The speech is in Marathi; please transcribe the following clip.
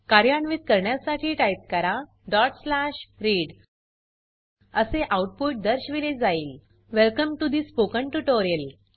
कार्यान्वीत करण्यासाठी टाइप करा read असे आउटपुट दर्शविले जाईल welcome to the spoken tutorial